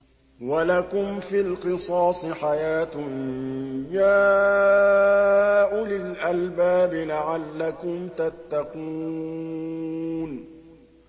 وَلَكُمْ فِي الْقِصَاصِ حَيَاةٌ يَا أُولِي الْأَلْبَابِ لَعَلَّكُمْ تَتَّقُونَ